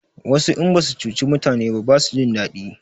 Wasu in basu cuci mutani ba basu jin daɗi